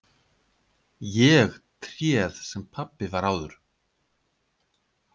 Ég tréð sem pabbi var áður.